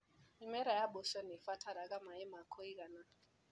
Mĩmera ya mboco nĩibataraga maĩ ma kũigana.